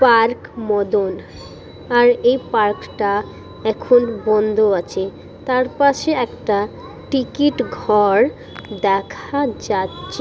Park Madan. আর এই park টা এখন বন্ধ আছে তার পাশে একটা টিকিট ঘর দেখা যাচ্ছে--